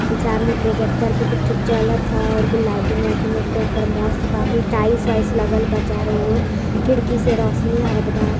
सामने प्रोजेक्टर पर कुछ पिक्चर था और लाइटिंग व्हिटिंग एक दम मस्त टाइल्स-वाइल्स लागल बा चारों और खिड़की से रोशनी आवत बा |